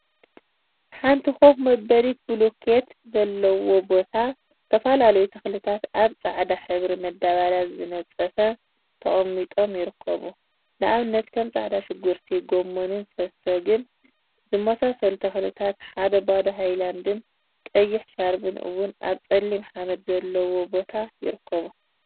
ሓንቲ ኮፍ መበሊት ቡሉኬት ዘለዎ ቦታ ዝተፈላለዩ ተክሊታት አብ ፃዕዳ ሕብሪ መዳበርያ ዝተነፀፈ ተቀሚጦም ይርከቡ፡፡ ንአብነት ከም ፃዕዳ ሽጉርቲ፣ ጎመንን ሰሰገን ዝመሳሰሉ ተክሊታትን ሓደ ባዶ ሃይላንድን ቀይሕ ሻርቢን እውን አብፀሊም ሓመድ ዘለዎ ቦታ ይርከቡ፡፡